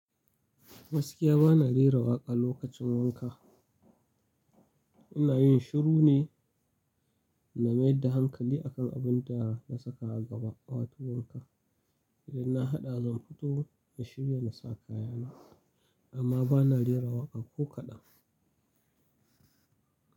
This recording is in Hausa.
Gaskiya ba na rera waƙa lokacin wanka. Ina yin shiru ne na maida hankali a kan abin da na saka a gaba a wato wanka. Idan na haɗa zan fito in shirya na sa kaya na. Amma ba na rera waƙa ko kaɗan.